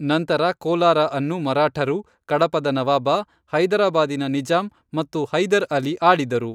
ನಂತರ ಕೋಲಾರ ಅನ್ನು ಮರಾಠರು, ಕಡಪದ ನವಾಬ, ಹೈದರಾಬಾದಿನ ನಿಜಾಂ ಮತ್ತು ಹೈದರ್ ಅಲಿ ಆಳಿದರು.